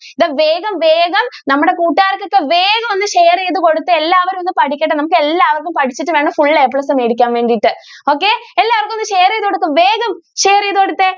ദാ വേഗം വേഗം നമ്മുടെ കൂട്ടുകാർക്കൊക്കെ വേഗം ഒന്ന് share ചെയ്ത് കൊടുത്തേ എല്ലാവരും ഒന്ന് പഠിക്കട്ടെ നമുക്ക് എല്ലാവർക്കും പഠിച്ചിട്ടു വേണം full A Plus മേടിക്കാൻ വേണ്ടിട്ട്. okay എല്ലാവർക്കും ഒന്നു share ചെയ്ത് കൊടുക്കൂ വേഗം share ചെയ്ത് കൊടുത്തേ.